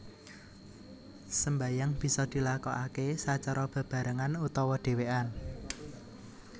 Sembayang bisa dilakokaké sacara bebarengan utawa dhèwèkan